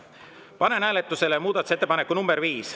Panen hääletusele muudatusettepaneku nr 5.